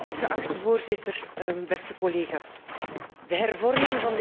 De hervorming van dit energielabel moet voor mij verschillende doelen dienen.